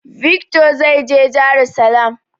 Vikto zai je jarusalam.